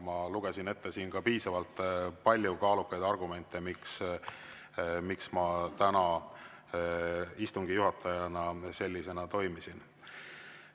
Ma lugesin siin ette ka piisavalt palju kaalukaid argumente, miks ma täna istungi juhatajana selliselt toimisin.